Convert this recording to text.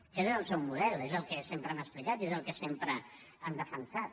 aquest és el seu model és el que sempre han explicat i és el que sempre han defensat